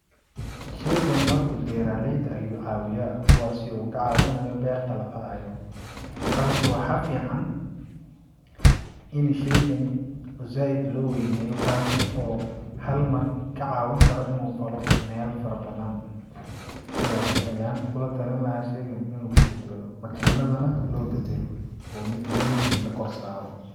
Sheygani horta beraleyda ayuu cawiyaa kuwaasi uu ka cawinayo berta lafalayo balsse waxaa fican ini sheygani oo zaid loo weyneeyo kaasi oo halmar ka caawini karo inuu falo mela fara badan sidaas ayaan kula atali lahaa sheygani in lagu bedelo makiinada nah loo bedelo oo mid weyn la korsaro.